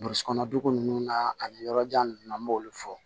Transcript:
Burusi kɔnɔ dugu ninnu na ani yɔrɔ jan ninnu na an b'olu fɔ